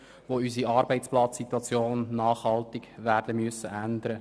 Wir werden unsere Arbeitsplatzsituationen nachhaltig ändern müssen.